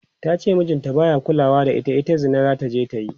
tace mijin ta baya kulawa da ita, ita Zina zataje ta yi